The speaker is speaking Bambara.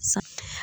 Sa